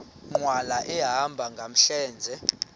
nkqwala ehamba ngamlenze